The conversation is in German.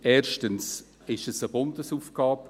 Erstens ist es eine Bundesaufgabe;